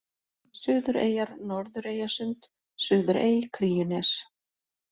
Suðureyjar, Norðureyjasund, Suðurey, Kríunes